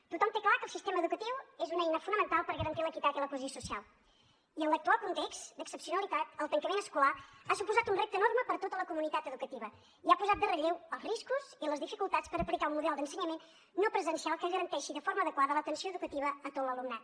tothom té clar que el sistema educatiu és una eina fonamental per garantir l’equitat i la cohesió social i en l’actual context d’excepcionalitat el tancament escolar ha suposat un repte enorme per a tota la comunitat educativa i ha posat en relleu els riscos i les dificultats per aplicar un model d’ensenyament no presencial que garanteixi de forma adequada l’atenció educativa a tot l’alumnat